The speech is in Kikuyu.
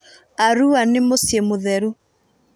Arua nĩ muciĩ mutheru.